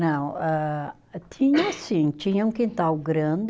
Não, ah tinha sim, tinha um quintal grande.